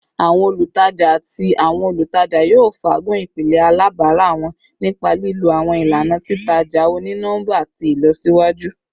Awọn olutaja ati awọn olutaja yoo faagun ipilẹ alabara wọn nipa lilo awọn ilana titaja oni-nọmba ti ilọsiwaju